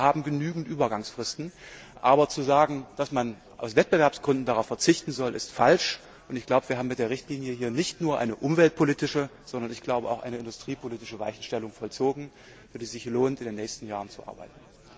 Wir haben genügend Übergangsfristen, aber zu sagen, dass man aus Wettbewerbsgründen darauf verzichten soll, ist falsch. Und ich glaube, wir haben mit der Richtlinie hier nicht nur eine umweltpolitische, sondern auch eine industriepolitische Weichenstellung vollzogen, für die es sich lohnt, in den nächsten Jahren zu arbeiten.